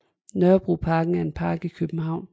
Nørrebroparken er en park i København